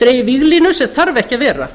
dregið víglínur sem þurfa ekki að vera